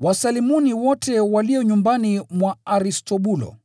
Wasalimuni wote walio nyumbani mwa Aristobulo.